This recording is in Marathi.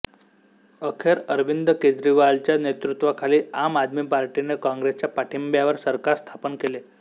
अखेर अरविंद केजरीवालच्या नेतृत्वाखाली आम आदमी पार्टीने काँग्रेसच्या पाठिंब्यावर सरकार स्थापन केले